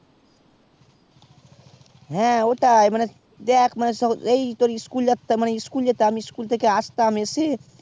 হ্যাঁ ওটাই মানে দেখ মানে এই মানে তোর school যেতাম school থেকে আসতাম এসে